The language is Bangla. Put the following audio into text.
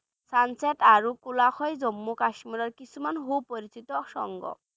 Sunset আৰু জম্মু কাশ্মীৰৰ কিছুমান সুপৰিচিত সংগ